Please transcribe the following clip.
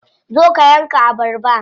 Zo ka yanka abarba.